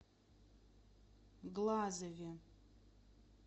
глазове